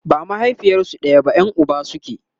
ba mahaifiyarsu ɗaya da ita ba Yan Uba suke